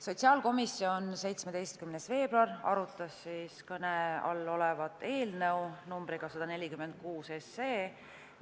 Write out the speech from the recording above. Sotsiaalkomisjon 17. veebruaril arutas kõne all olevat eelnõu numbriga 146,